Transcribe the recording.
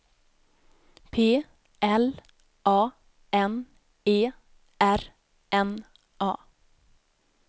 P L A N E R N A